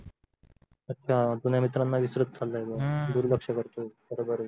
अच्छा जुन्या मित्रांना विसरता चालायलय तो दुर्लक्ष करतोय बरोबर आहे